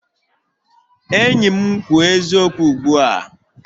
Enyi m kwuo eziokwu ugbu a!